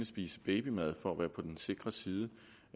spise babymad for at være på den sikre side